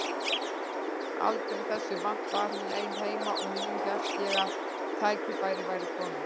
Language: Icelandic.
Aldrei þessu vant var hún ein heima og nú hélt ég að tækifærið væri komið.